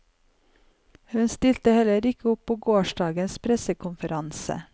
Hun stilte heller ikke opp på gårsdagens pressekonferanse.